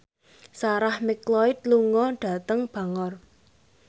Sarah McLeod lunga dhateng Bangor